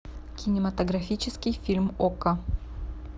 кинематографический фильм окко